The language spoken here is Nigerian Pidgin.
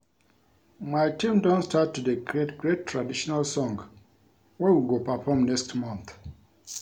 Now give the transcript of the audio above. My team don start to dey create great traditional song wey we go perform next month